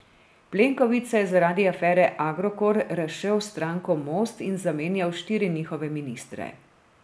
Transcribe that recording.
Plenković se je zaradi afere Agrokor razšel s stranko Most in zamenjal štiri njihove ministre.